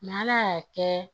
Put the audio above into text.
ala y'a kɛ